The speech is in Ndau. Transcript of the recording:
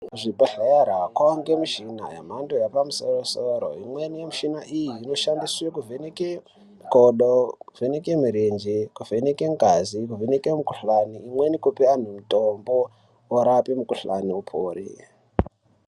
Muzvibhedhleya mawanda muchina yemhando yepamusoro -soro imweni michina iyi inoshandiswa kuvheneke makodo kuvheneke mirenje kuvheneke ngazi kuvheneke mukuhlani umweni kupa anhu mutombo worape mukuhlani upore.